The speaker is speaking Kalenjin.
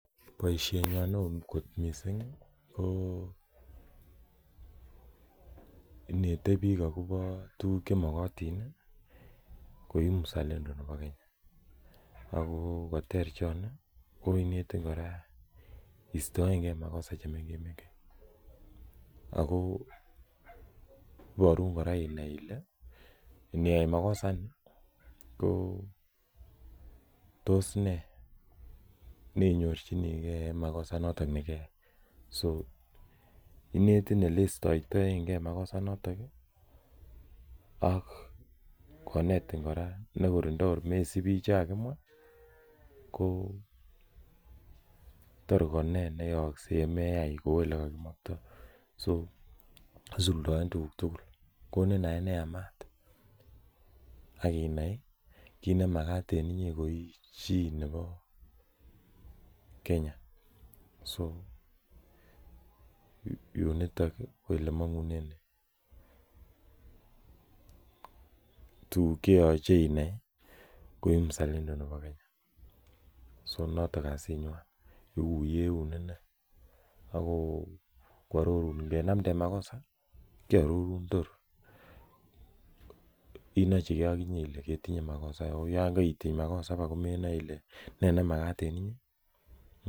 Poishenya ne oo kot missing' ko inete piik akopa tuguk che maktin koi msalendo nepo Kenya. Ako ne ter choni ko netin iistaen gei makosa che mengech mengech. Ako iparun kora inai ile niyai makosa any ko tos ne inyorchinigei en makosa inotok ne keyai. So inetin ole iistaetaengei makosa inotok ak konetin kora ne kor ndi kor komesupi che kakimwa ko toroken neyakse ye meai kou ole kimaktai so isuldaen tuguuk tugul. Konin naet ne yamat ak inai ile makat en inye ko i chi nepo Kenya. So yu nitok ko ole mang'une tuguuk che imuchi iyai ko i msalendo ne Kenya. So notok kasinywan yeu yeun inne ako koarorun. Ngenamden makosa kiarorun tor inachi akinye kole ketinye makosa, ako yan kaitiny makosa ko menai ile ne makat en inye?